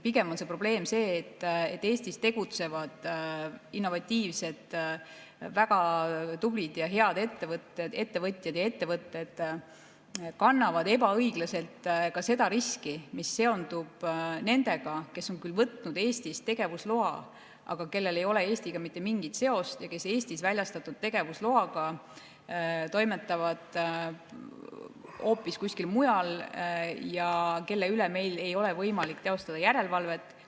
Pigem on probleem see, et Eestis tegutsevad innovatiivsed, väga tublid ja head ettevõtjad ja ettevõtted kannavad ebaõiglaselt ka seda riski, mis seondub nendega, kes on võtnud Eestis tegevusloa, aga kellel ei ole Eestiga mingit seost, kes Eestis väljastatud tegevusloaga toimetavad hoopis kuskil mujal ja kelle üle meil ei ole võimalik teostada järelevalvet.